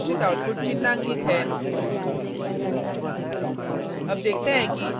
terminal पर प्रदर्शित output चिन्हांकित है